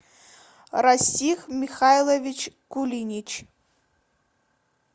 расих михайлович кулинич